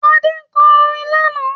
Adé kọ orin lánàá